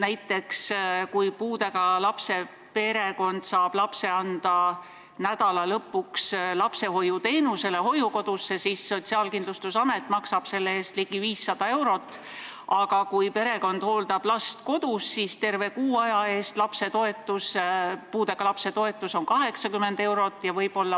Näiteks, kui puudega lapse perekond saab lapse anda nädalalõpuks hoiukodusse lapsehoiuteenusele, siis maksab Sotsiaalkindlustusamet selle eest ligi 500 eurot, aga kui perekond hooldab last kodus, siis on puudega lapse toetus terve kuu eest 80 eurot.